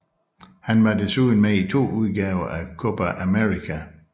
Han var desuden med i to udgaver af Copa América